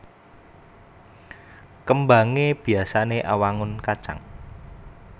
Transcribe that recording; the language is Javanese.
Kembangé biyasané awangun kacang